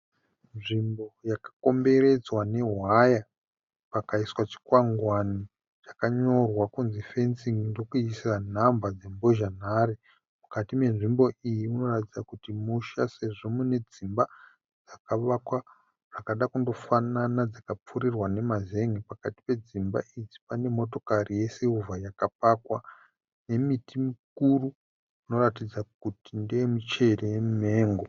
Nzvimbo yakakomberedzwa newaya pakaiswa chikwangwani chakanyorwa kunzi fenzin'i ndokuisa nhamba dzembozha nhare mukati menzvimbo iyi munoratidza kuti musha sezvo mune dzimba dzakavakwa dzakada kundofanana dzikapfurirwa nemazenge pakati pedzimba idzi pane motokari yesirivha yakapakwa nemiti mikuru inoratidza kuti ndeye michero yemimengo.